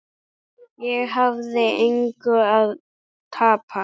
Ég hafði engu að tapa.